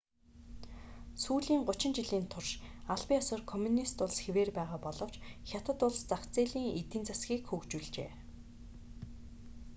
сүүлийн гучин жилийн турш албан ёсоор коммунист улс хэвээр байгаа боловч хятад улс зах зээлийн эдийн засгийг хөгжүүлжээ